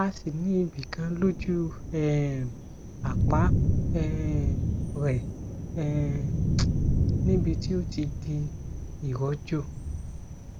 a sì ní ibi kan lójú um àpá um rẹ um níbi tí ó ti di iròjò